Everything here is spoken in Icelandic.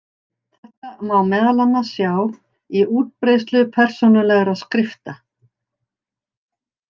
Þetta má meðal annars sjá í útbreiðslu persónulegra skrifta.